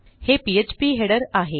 हे PHP header आहे